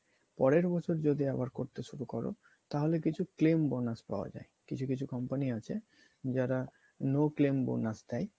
পরের মাসে যদি আবার করতে শুরু করো তাহলে কিছু claim bonus পাওয়া যায়, কিছু কিছু company আছে যারা no claim bonus দেয়